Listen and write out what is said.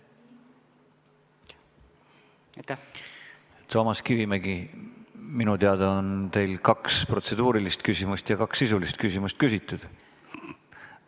Toomas Kivimägi, minu teada on teil kaks protseduurilist küsimust ja kaks sisulist küsimust küsitud.